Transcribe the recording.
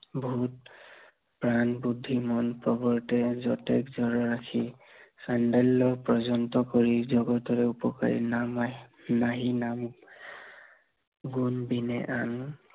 প্ৰাণ, বুদ্ধি মন প্ৰবৰ্তে যতে যৰ ৰাখি, চাণ্ডাল্য় পৰ্যন্ত কৰি জগতৰে উপকাৰী নাম, নাহি নাহি নাম গুণ বিন আন